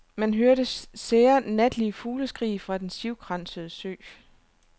Man hørte sære natlige fugleskrig fra den sivkransede sø.